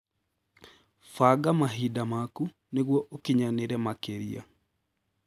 Banga mahinda maku nĩguo ũkinyanĩre makĩria.